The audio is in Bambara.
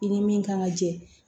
I ni min kan ka jɛ